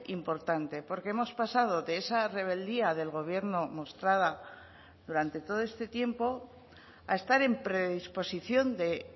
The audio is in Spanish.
importante porque hemos pasado de esa rebeldía del gobierno mostrada durante todo este tiempo a estar en predisposición de